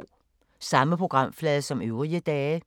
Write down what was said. Samme programflade som øvrige dage